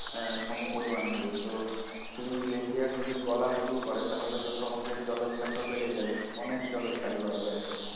আহ সমপরিমন হবে তো সেই glacier যদি গলা শুরু করে তাহলে তো সমুদ্রে জলোচ্ছ্বাসও বেড়ে যাবে অনেক জলোচ্ছ্বাস বাড়বে একদম।